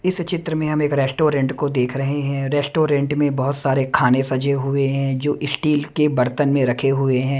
इस चित्र में हम एक रेस्टोरेंट को देख रहे हैं रेस्टोरेंट में बहुत सारे खाने सजे हुए हैं जो इस्टील के बर्तन में रखे हुए हैं।